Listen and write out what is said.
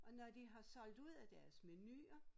Og når de har solgt ud af deres menuer